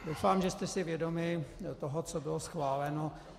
Doufám, že jste si vědomi toho, co bylo schváleno.